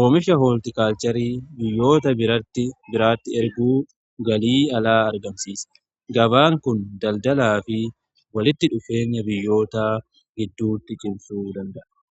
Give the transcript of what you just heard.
oomifha hooltikaalcheerii biyyoota biraatti erguun galii alaa argamsiisa. Gabaan kun daldalaa fi walitti dhufeenya biyyoota gidduutti cimsuu danda'a.